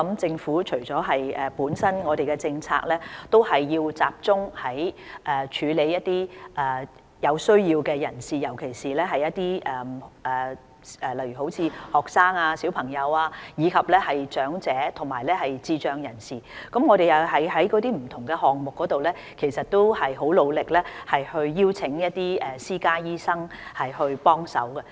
政府現時的政策是集中處理一些有需要的人士，例如學生、小朋友、長者及智障人士，而我們在不同項目上也很努力邀請一些私家醫生提供協助。